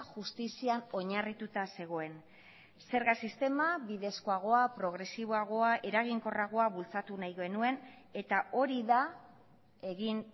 justizian oinarrituta zegoen zerga sistema bidezkoagoa progresiboagoa eraginkorragoa bultzatu nahi genuen eta hori da egin